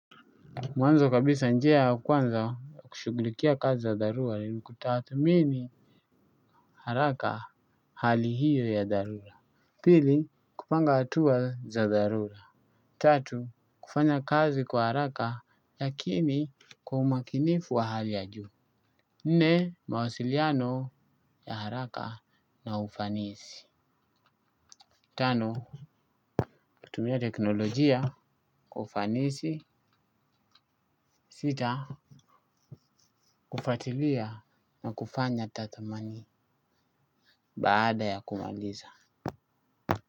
Mwanzo kabisa njia ya kwanza kushuglikia kazi za dharura ni kutathmini haraka hali hiyo ya dharura, pili kupanga atua za dharura. Tatu kufanya kazi kwa haraka lakini kwa umakinifu wa hali ya juu. Nne mawasiliano ya haraka na ufanisi. Tano kutumia teknolojia kwa ufanisi, sita kufatilia na kufanya tathmani baada ya kumaliza.